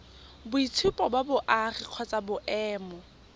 boitshupo ba boagi kgotsa boemo